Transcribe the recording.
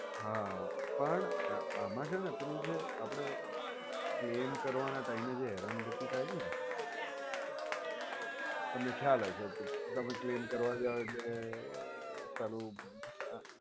હા પણ આમાં છે ને પેલું જે આપણે જે claim કરવાના time એ હેરાન ગતિ થાય છે ને તમે ખ્યાલ હશે તમે claim કરવા જાવ એટલે સારું અ